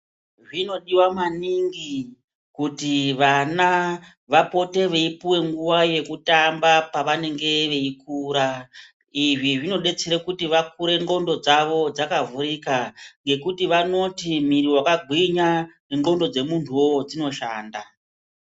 Zvinodiwa maningi kuti vana vapote veipuwe nguwa yekutamba pavanenge veikura. Izvi zvinodetsere kuti vakure ndxondo dzavo dzakavhurika, ngekuti vanoti miri wakagwinya, nendxondo dzemuntuwo dzinoshanda.